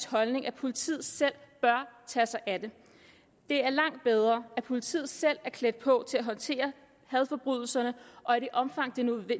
holdning at politiet selv bør tage sig af det det er langt bedre at politiet selv er klædt på til at håndtere hadforbrydelserne og i det omfang det er